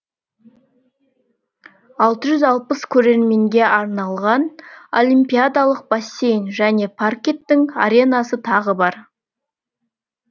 алты жүз алпыс көрерменге арналған олимпиадалық бассейн және паркеттің аренасы тағы бар